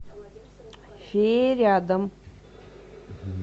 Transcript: фея рядом